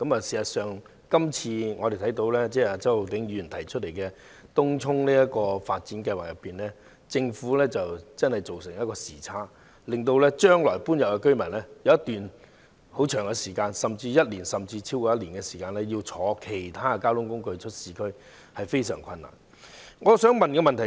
事實上，就周浩鼎議員今次提出的東涌新市鎮擴展計劃，我們看到政府的工作確實出現一個時差，令日後遷入該區的居民將有一段漫長的時間，約1年甚或超過1年須乘坐其他交通工具前往市區，對市民造成困難。